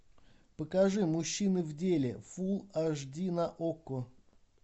покажи мужчины в деле фулл аш ди на окко